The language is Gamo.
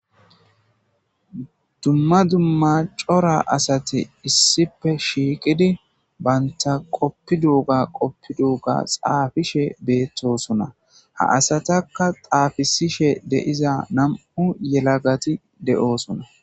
dumma dumma cora asati issipe shiiqidi baynta qoppi duuga qoppi duuga xaafishe beettosona ha asatakka xaafisishe deiza nam7u yelagati de7oosona